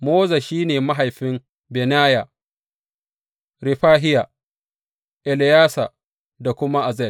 Moza shi ne mahaifin Bineya; Refahiya, Eleyasa da kuma Azel.